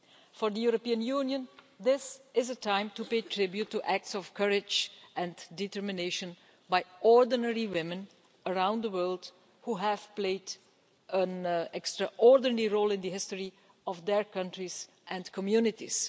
For the European Union, this is a time to pay tribute to acts of courage and determination by ordinary women around the world who have played an extraordinary role in the history of their countries and communities.